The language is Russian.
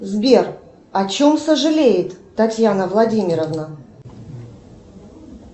сбер о чем сожалеет татьяна владимировна